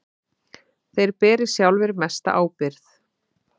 Þeir beri sjálfir mesta ábyrgð.